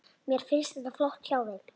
Mér finnst þetta flott hjá þeim.